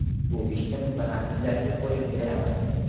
Bu ishni mutaxassislarga qo‘yib beramiz.